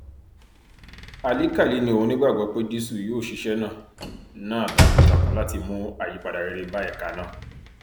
álìkálì ni òun nígbàgbọ pédísù yóò ṣiṣẹ náà náà takuntakun láti mú àyípadà rere bá ẹka náà